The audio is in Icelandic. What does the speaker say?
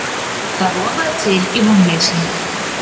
Það rofaði til í vonleysinu.